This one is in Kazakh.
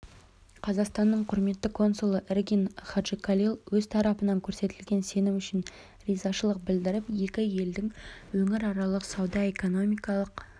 қазақстанның құрметті консулы эргин хаджикалил өз тарапынан көрсетілген сенім үшін ризашылық білдіріп екі елдің өңіраралық сауда-экономикалық